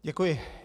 Děkuji.